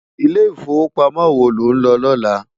Ilé Ifówópámò wó ló n lò lòlá?